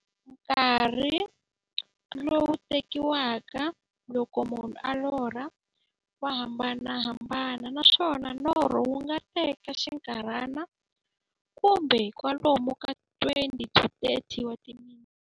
Nkarhi lowu tekiwaka loko munhu a lorha, wa hambanahambana, naswona norho wu nga teka xinkarhana, kumbe kwalomu ka 20-30 wa timinete.